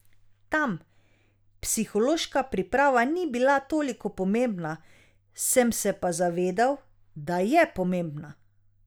Tam psihološka priprava ni bila toliko pomembna, sem se pa zavedal, da je pomembna.